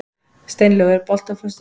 Steinlaug, er bolti á föstudaginn?